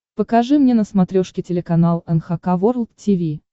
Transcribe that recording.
покажи мне на смотрешке телеканал эн эйч кей волд ти ви